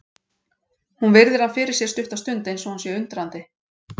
Hún virðir hann fyrir sér stutta stund eins og hún sé undrandi.